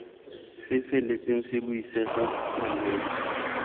se feletseng se buisega malwetse